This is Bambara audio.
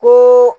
Ni